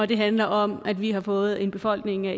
det handler om at vi har fået en befolkning af